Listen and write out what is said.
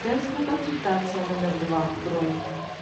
женская консультация номер два бронь